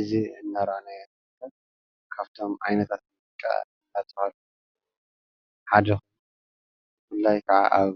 እዚ እናረአናዮ ዘለና ካብቶም ዓይነታት ሙዚቃ ኣፃውታ ሓደ እዩ፡፡ ብፍላይ ከዓ ኣብ